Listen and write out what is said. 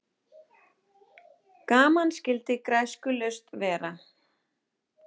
Gaman skyldi græskulaust vera.